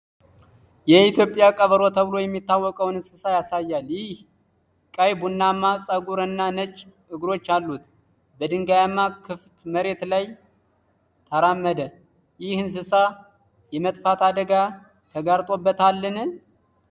የኢትዮጵያ ቀበሮ) ተብሎ የሚታወቀውን እንስሳ ያሳያል። ቀይ ቡናማ ፀጉር እና ነጭ እግሮች አሉት። በድንጋያማ፣ ክፍት መሬት ላይ ተራመደ። ይህ እንስሳ የመጥፋት አደጋ ተጋርጦበታል?